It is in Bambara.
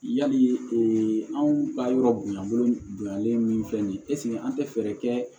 Yali anw ka yɔrɔ bonyabolo bonyalen min filɛ nin ye an tɛ fɛɛrɛ kɛ